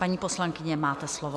Paní poslankyně, máte slovo.